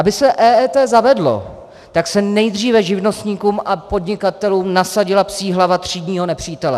Aby se EET zavedlo, tak se nejdříve živnostníkům a podnikatelům nasadila psí hlava třídního nepřítele.